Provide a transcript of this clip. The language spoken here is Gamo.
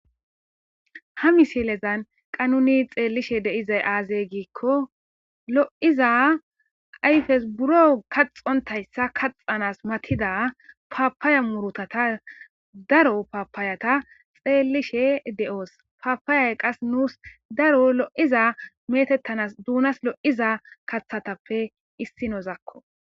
ha misilezan qanuni xeellishe deizay aazey giikko lo7iza ayfes buro kaxontayssa kaxanas matida paapaya murutata daro paapaayata xeellishe de7oos paapaayay qas nuus daro lo7iza metettanas duunas lo7iza kathatappe issi nozakko